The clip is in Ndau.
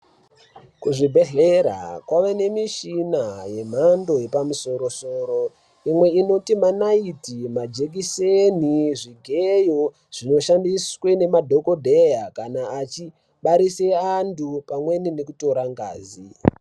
Kuzvibhedhlera kwave nemishina yemhando yepamusoro-soro. Imwe inotipe manaiti, majekiseni, zvigeyo zvinoshandiswe nemadhokodheya kana achibarise antu pamweni nekutora ngazi.